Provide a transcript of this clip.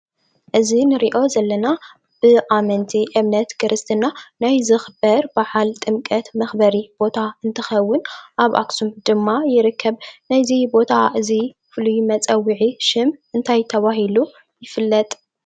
እዙይ እንርእዮ ዘለና ብኣመንቲ እምነት ክርስትና ናይ ዝኽበር ብዓል ጥምቀት ምክበሪ ቦታ እንትከውን ኣብ ኣክሱም ድማ ይርከብ። ናዙይ ቦታ እዙይ ፍሉይ መፀውዒ ሽም እንታይ ተባህሉ ይፍለጥ?